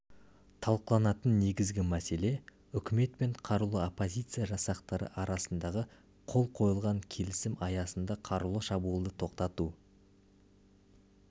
талқыланатын негізгі мәселе үкімет пен қарулы оппозиция жасақтары арасындағы қол қойылған келісім аясында қарулы шабуылды тоқтату